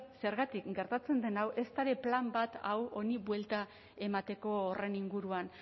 zergatik gertatzen den hau ezta ere plan bat hau honi buelta emateko horren inguruan